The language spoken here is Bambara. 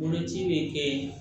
Boloci bɛ kɛ